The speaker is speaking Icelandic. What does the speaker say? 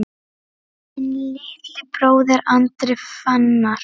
Þinn litli bróðir, Andri Fannar.